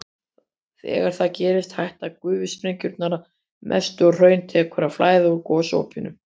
Þegar það gerist hætta gufusprengingarnar að mestu og hraun tekur að flæða úr gosopinu.